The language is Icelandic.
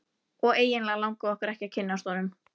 Og eiginlega langaði okkur ekki að kynnast honum.